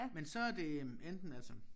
Men så er det øh enten altså